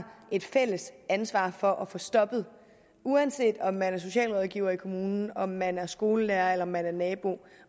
et fælles ansvar for at få stoppet uanset om man er socialrådgiver i kommunen om man er skolelærer eller om man er nabo